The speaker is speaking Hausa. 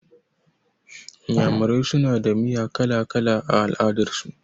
Iyamurai suna da miya kala-kala a al'adar su.